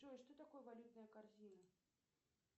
джой что такое валютная корзина